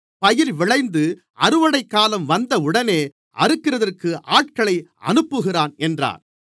பயிர் விளைந்து அறுவடைக்காலம் வந்தவுடனே அறுக்கிறதற்கு ஆட்களை அனுப்புகிறான் என்றார்